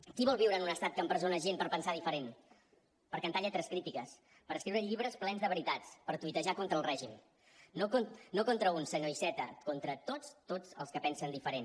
qui vol viure en un estat que empresona gent per pensar diferent per cantar lletres crítiques per escriure llibres plens de veritats per tuitejar contra el règim no contra un senyor iceta contra tots tots els que pensen diferent